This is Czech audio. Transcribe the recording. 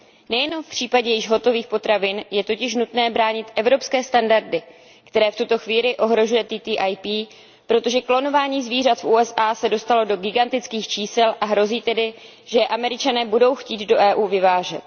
Nejenom v případě již hotových potravin je totiž nutné bránit evropské standardy, které v tuto chvíli ohrožuje TTIP, protože klonování zvířat v USA se dostalo do gigantických čísel a hrozí tedy, že je Američané budou chtít do EU vyvážet.